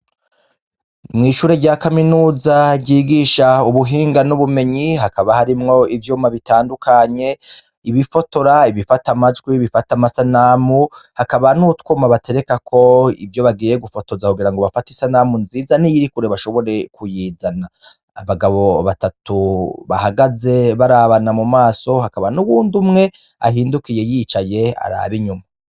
Mw'ishure rya kaminuza ryigisha ubuhinga n'ubumenyi hakaba harimwo ivyomabitandukanye ibifotora ibifata amajwi bifata amasanamu hakaba nutwuma batereka ko ivyo bagiye gufotoza kugira ngo bafata isanamu nziza n'iyirikure bashobore kuyizana abagabo batatu ahagaze barabana mu maso hakaba n'uwundi umwe ahindukiye yicaye araba inyuma.